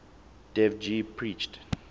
dev ji preached